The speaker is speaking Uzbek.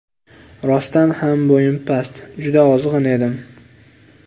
Rostdan ham bo‘yim past, juda ozg‘in edim.